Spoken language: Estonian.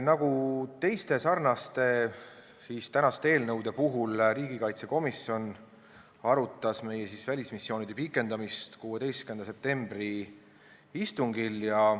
Nagu teiste sarnaste tänaste eelnõude puhul arutas riigikaitsekomisjon meie välismissioonide pikendamist 16. septembri istungil.